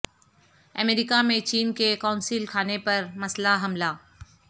امریکہ میں چین کے قونصل خانے پر مسلح حملہ